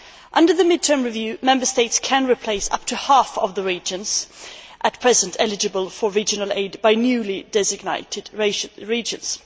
Under the mid term review, Member States can replace up to half of the regions at present eligible for regional aid by newly designated regions.